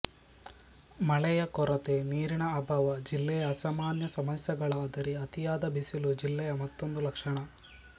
ಮಳೆಯ ಕೊರತೆ ನೀರಿನ ಅಭಾವ ಜಿಲ್ಲೆಯ ಸಾಮಾನ್ಯ ಸಮಸ್ಯೆಗಳಾದರೆ ಅತಿಯಾದ ಬಿಸಿಲು ಜಿಲ್ಲೆಯ ಮತ್ತೊಂದು ಲಕ್ಷಣ